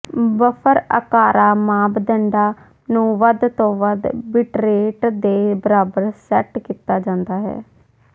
buffer ਆਕਾਰ ਮਾਪਦੰਡਾਂ ਨੂੰ ਵੱਧ ਤੋਂ ਵੱਧ ਬਿੱਟਰੇਟ ਦੇ ਬਰਾਬਰ ਸੈਟ ਕੀਤਾ ਜਾਂਦਾ ਹੈ